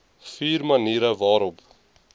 vier maniere waarop